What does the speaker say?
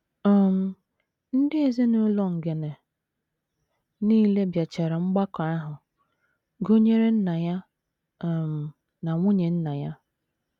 um Ndị ezinụlọ Ngene nile bịachara mgbakọ ahụ, gụnyere nna ya um na nwunye nna ya.